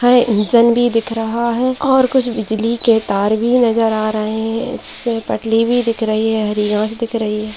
है इंजन भी दिख रहा है और कुछ बिजली के तार भी नजर आ रहे है इसपे पटरी भी दिख रही है हरी घास दिख रही है।